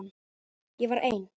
Ég var ein.